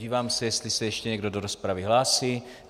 Dívám se, jestli se ještě někdo do rozpravy hlásí.